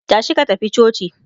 tashi ka tafi coci!